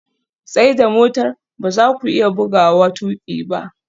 Tsaida motar! ba za ku iya buguwa tuƙi ba